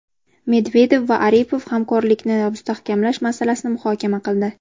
Medvedev va Aripov hamkorlikni mustahkamlash masalasini muhokama qildi.